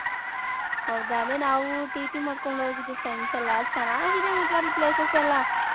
ಹೌದ ಅದೇ ನಾವು TT ಮಾಡ್ಕೊಂಡ್ ಹೋಗಿದ್ರಿ friends ಎಲ್ಲಾ ಚೆನ್ನಾಗಿದೆ ಮಾತ್ರ ಅಲ್ಲಿ places ಎಲ್ಲಾ .